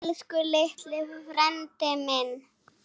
Elsku litli frændi minn.